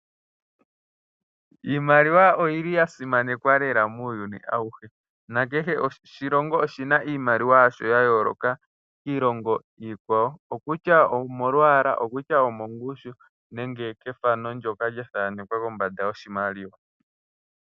Iimaliwa oyi li ya simanekwa lela muuyuni auhe. Nakehe oshilongo oshi na iimaliwa yasho ya yooloka kiilongo iikwawo, okutya omolwaala, okutya omongushu nenge kethano ndyoka lya thanekwa kombanda yoshimaliwa.